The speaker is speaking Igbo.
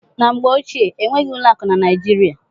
Na mgbe ochie, enweghị ụlọ akụ na Naijiria.